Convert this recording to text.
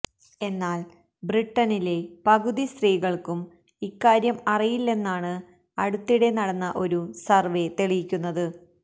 എന്നാല് ബ്രിട്ടനിലെ പകുതി സ്ത്രീകള്ക്കും ഇക്കാര്യം അറിയില്ലെന്നാണ് അടുത്തിടെ നടന്ന ഒരു സര്വ്വേ തെളിയിക്കുന്നത്